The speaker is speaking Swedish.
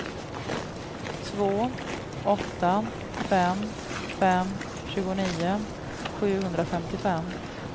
två åtta fem fem tjugonio sjuhundrafemtiofem